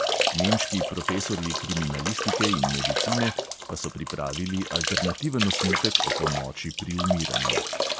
Nemški profesorji kriminalistike in medicine pa so pripravili alternativen osnutek o pomoči pri umiranju.